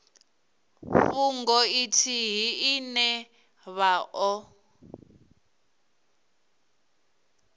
fhungo ithihi ine vha o